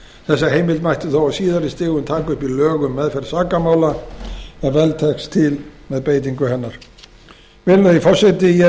þessa heimild mætti þó á síðari stigum taka upp í lög um meðferð sakamála ef vel tekst til með beitingu hennar virðulegi forseti ég hef